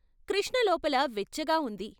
కృష్ణలోపల వెచ్చగా ఉంది.